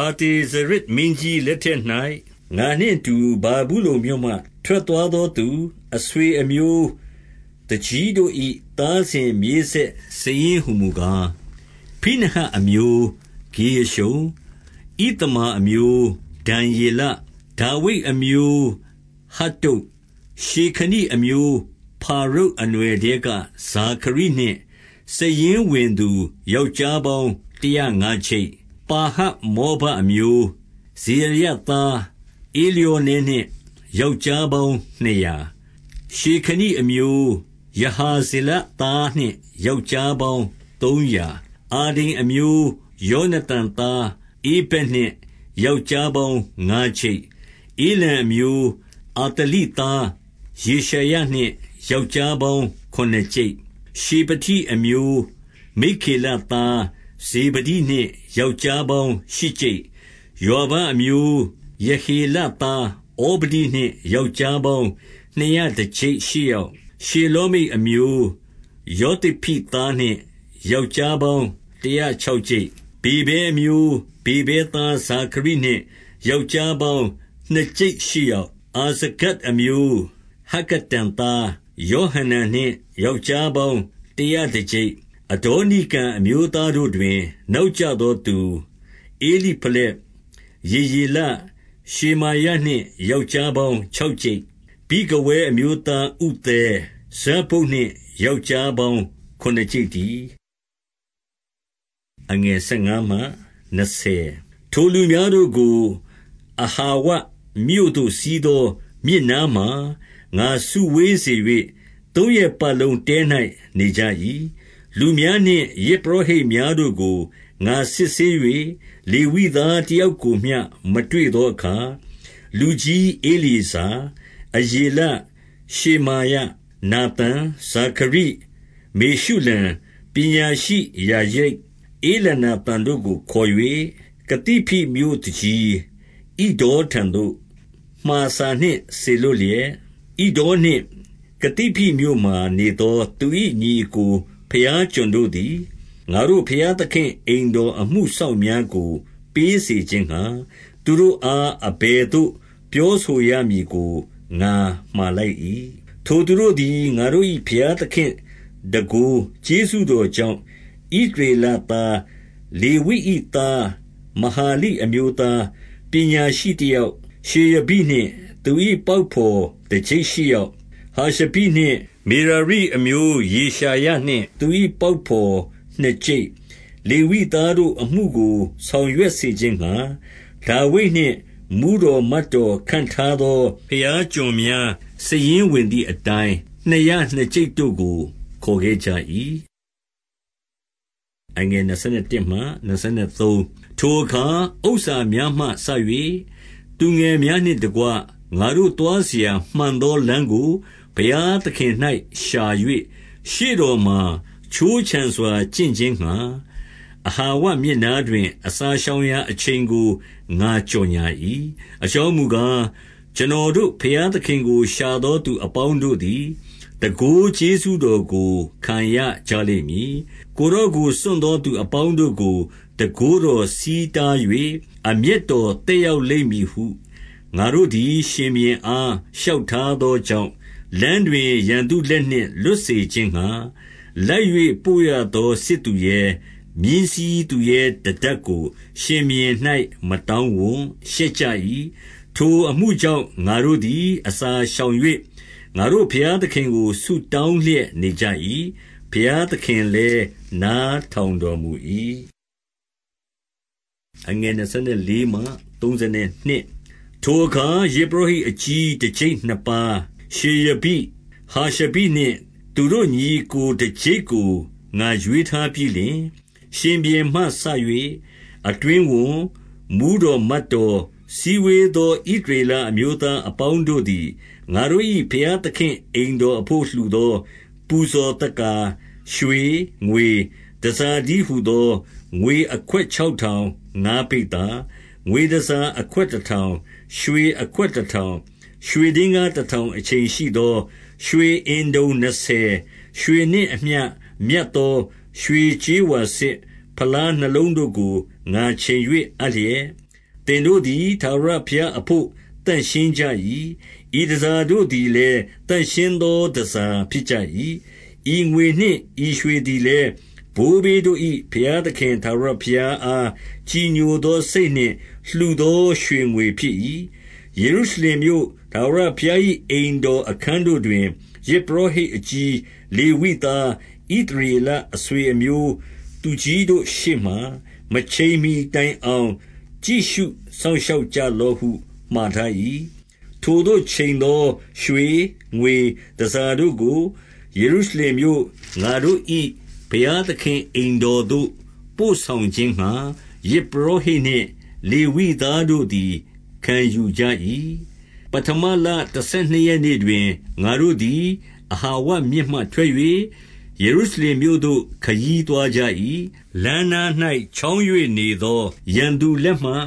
အာတဇေရဇ်မင်းကြီးလက်ထက်၌၊ ငါနှင့်အတူ ဗာဗုလုန်မြို့မှ ထွက်သွားသောသူ အဆွေအမျိုးသူကြီးတို့ ၏ သားစဉ်မြေးဆက်စာရင်းဟူမူကား။ 2 ဖိနဟတ်မျိုး ဂေရရှုံ၊ ဣသမာအမျိုး ဒံယေလ၊ ဒါဝိဒ်အမျိုး ဟတ္တုတ်၊ 3 ရှေခနိအမျိုး ဖာရုတ်အနွှယ်ထဲက ဇာခရိနှင့် စာရင်းဝင်သူ ယောက်ျားပေါင်းတရာငါးကျိပ်။ 4 ပါဟတ်မောဘအမျိုး၊ ဇေရာယသားဧလျောနဲ နှင့် ယောက်ျားပေါင်းနှစ်ရာ၊ 5 ရှေခနိအမျိုး ယဟာဇေလသားနှင့် ယောက်ျား ပေါင်းသုံးရာ၊ 6 အာဒိန်အမျိုး ယောနသန်သား ဧဗက်နှင့် ယောက်ျားပေါင်းငါးကျိပ်၊ 7 ဧလံအမျိုး၊ အာသလိသား ယေရှာယနှင့် ယောက်ျားပေါင်းခုနစ်ကျိပ် 8 ရှေဖတိအမျိုး မိက္ခေလသား ဇေဗဒိနှင့် ယောက်ျားပေါင်းရှစ်ကျိပ်၊ 9 ယွာဘအမျိုး ယေဟေလသား ဩဗဒိနှင့် ယောက်ျားပေါင်းနှစ်ရာတကျိပ်ရှစ်ယောက်၊ 10 ရှေလောမိတ်အမျိုး၊ ယောသိဖိသားနှင့် ယောက်ျားပေါင်းတရာခြောက်ကျိပ်၊ 11 ဗေဗဲအမျိုး၊ ဗေဗဲသားဇာခရိနှင့် ယောက်ျား ပေါင်းနှစ်ကျိပ် ရှစ်ယောက်၊ 12 အာဇဂဒ်အမျိုး၊ ဟက္ကတန်သား ယောဟနန်နှင့် ယောက်ျားပေါင်းတရာတကျိပ်၊ 13 အဒေါနိကံအမျိုးသားတို့တွင်၊ နောက်ကျသော သူ၊ ဧလိဖလက်၊ ယေယေလ၊ ရှေမာယနှင့် ယောက်ျား ပေါင်းခြောက်ကျိပ်၊ 14 ဗိဂဝဲအမျိုးသားဥသဲ၊ ဇဗ္ဗုဒ်နှင့် ယောက်ျား ပေါင်းခုနစ်ကျိပ်တည်း။ 15 ထိုလူများတို့ကို အဟာဝမြို့သို့စီးသော မြစ်နား မှာ ငါစုဝေးစေ၍၊ သုံးရက်ပတ်လုံးတဲ၌ နေကြ၏။ လူများ နှင့် ယဇ်ပုရောဟိတ်များတို့ကို ငါစစ်ဆေး၍၊ လေဝိသား တယောက်ကိုမျှ မတွေ့သောအခါ၊ 16 လူကြီးဧလျေဇာ၊ အရေလ၊ ရှေမာယ၊ နာသန်၊ ဇာခရိ၊ မေရှုလံ၊ ပညာရှိယာရိပ်၊ ဧလနာသန်တို့ကို ခေါ်၍၊ 17 ကသိဖိမြို့သူကြီး ဣဒေါထံသို့ မှာစာနှင့် စေ လွှတ်လျက်၊ ဣဒေါနှင့် ကသိဖိမြို့မှာ နေသောသူ၏ ညီအစ်ကိုဘုရားကျွန်တို့သည်၊ ငါတို့ဘုရား သခင့် အိမ်တော်အမှုစောင့်များကို ပေးစေခြင်းငှါ၊ သူတို့အား အဘယ်သို့ ပြောဆိုရမည်ကို ငါမှာလိုက်၏။ 18 ထိုသူတို့သည် ငါတို့၏ဘုရားသခင့်တန်ခိုး ကျေးဇူးတော်ကြောင့်၊ ဣသရေလသားလေဝိ၏သား မဟာလိအမျိုးသား၊ ပညာရှိတယောက်၊ ရှေရဘိနှင့် သူ၏ပေါက်ဘော်တကျိပ်ရှစ်ယောက်၊ 19 ဟာရှဘိနှင့် မေရာရိအမျိုး ယေရှာယနှင့်သူ၏ ပေါက်ဘော်နှစ်ကျိပ်၊ 20 လေဝိသားအမှုကိုဆောင်ရွက်စေခြင်းငှါ၊ ဒါဝိဒ် နှင့်မှူးတော်မတ် တော်ခန့်ထားသော ဘုရားကျွန်များ၊ စာရင်းဝင်သည်အတိုင်း၊ နှစ်ရာနှစ်ကျိပ်တို့ကို ခေါ်ခဲ့ ကြ၏။ 21 ထိုအခါ ဥစ္စာများမှစ၍ သူငယ်များနှင့်တကွ၊ ငါတို့သွားစရာ မှန်သောလမ်းကို ဘုရားသခင်၌ရှာ၍၊ ရှေ့တော်မှာခြိုးခြံစွာ ကျင့်ခြင်းငှါ၊ အဟာဝမြစ်နားတွင်၊ အစာရှောင်ရာအချိန်ကို ငါကြော်ငြာ၏။ 22 အကြောင်းမူကား၊ ကျွန်တော်တို့ ဘုရားသခင် ကို ရှာသောသူအပေါင်းတို့သည်၊ တန်ခိုးကျေးဇူတော်ကို ခံရကြလိမ့်မည်။ ကိုယ်တော်ကို စွန့်သောသူအပေါင်း တို့ကို၊ တန်ခိုးတော်ဆီးတား၍ အမျက်တော်သက်ရောက် လိမ့်မည်ဟု ငါတို့သည်ရှင်ဘုရင်အား လျှောက်ထားသော ကြောင့်၊ လမ်းတွင် ရန်သူလက်နှင့်လွတ်စေခြင်းငှါ၊ လိုက်ပို့ ရသောစစ်သူရဲ၊ မြင်းစီးသူရဲ၊ တတပ်ကိုရှင်ဘုရင်၌ မတောင်းဝံ့၊ ရှက်ကြ၏။ 23 ထိုအမှုကြောင့်၊ ငါတို့သည်အစာရှောင်၍၊ ငါတို့ ဘုရားသခင်ကို ဆုတောင်းလျက်နေကြ၏။ ဘုရားသခင် လည်း နားထောင်တော်မူ၏။ 24 ထိုအခါ ယဇ်ပုရောဟိတ်အကြီး တကျိပ်နှစ်ပါး၊ ရှေရဘိ၊ ဟာရှဘိနှင့် သူတို့ညီအစ်ကို တကျိပ်ကို ငါရွေး ထားပြီးလျှင်၊ 25 ရှင်ဘုရင်မှစ၍ အတွင်းဝန်၊ မှူးတော်မတ်တော်၊ စည်းဝေးသော ဣသရေလအမျိုးသားအပေါင်းတို့သည်၊ ငါတို့၏ဘုရားသခင့် အိမ်တော်အဘို့ လှူသောပူဇော် သက္ကာ၊ ရွှေ၊ ငွေ၊ တန်ဆာတည်းဟူသော၊ 26 ငွေအခွက်ခြောက်ထောင်ငါးပိဿာ၊ ငွေတန်ဆာအခွက်တတေထောင်၊ ရွှေအခွက်တထောင်။ 27 ရွှေဒင်္ဂါးတထောင်အချိန်ရှိသော ရွှေအင်တုံ နှစ်ဆယ်၊ ရွှေနှင့်အမျှမြတ်သော ရွှေကြေးဝါစစ် ဖလား နှစ်လုံးတို့ကို ငါချိန်၍အပ်လျက်၊ 28 သင်တို့သည် ထာဝရဘုရားအဘို့ သန့်ရှင်း ကြ၏။ ဤတန်ဆာတို့သည်လည်း သန့်ရှင်းသောတန်ဆာ ဖြစ်ကြ၏။ ဤငွေနှင့် ဤရွှေသည်လည်း၊ ဘိုးဘေးတို့၏ ဘုရားသခင် ထာဝရဘုရားအား ကြည်ညိုသော စိတ်နှင့် လှူသောရွှေငွေဖြစ်၏။ 29 ယေရုရှလင်မြို့၊ ထာဝရဘုရား၏အိမ်တော် အခန်းတို့တွင် ယဇ်ပုရောဟိတ်အကြီး၊ လေဝိသား၊ ဣသ ရေလအဆွေအမျိုး သူကြီးတို့ရှေ့မှာ မချိန်မှီတိုင်အောင် ကြည့်ရှုစောင့်ရှောက်ကြလော့ဟု မှာထား၏။ 30 ထိုအချိန်သော ရွှေ၊ ငွေတန်ဆာတို့ကို ယေရု ရှလင်မြို့။ ငါတို့ 31 ပဌမလတဆယ်နှစ်ရက်နေ့တွင်၊ ငါတို့သည် အဟာငမြစ်မှ ထွက်၍၊ ယေရုရှလင်မြို့သို့ ခရီးသွားကြ၏။ လမ်းနား၌ ချောင်း၍နေသော ရန်သူလက်မှ၊